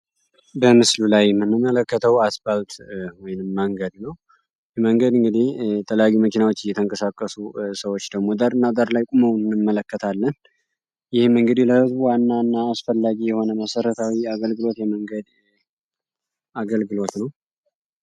በምስሉ ላይ የምንመለከተው አስፓልት ወይም መንገድ ነው። መንገድ እንግዲህ የተለያዩ መኪናወች እየተንቀሳቀሱ ሰዎች ደግሞ ዳር እና ዳር ላይ ቁመው እንመለከታለን። ይህም እንግዲህ ለህዝቡ ዋና ዋና አስፈላጊ የሆነ መሰረታዊ አገልግሎት የመንገድ አገልግሎት ነው።